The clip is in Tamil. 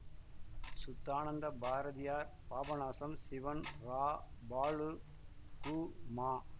சுத்தானந்த பாரதியார் பாபநாசம் சிவன் ரா பாலு கு மா